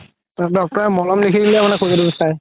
doctor ৰে মলম লিখি দিলে মানে খুজতিতো চাই